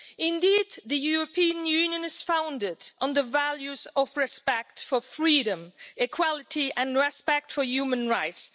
Indeed, the European Union is founded on the values of respect for freedom, equality and respect for human rights.